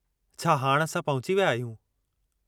छा हाणि असां पहुची विया आहियूं?